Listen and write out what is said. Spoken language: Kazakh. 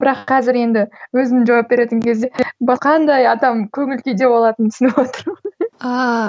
бірақ қазір енді өзің жауап беретін кезде қандай адам көңіл күйде болатынын түсініп отырмын ааа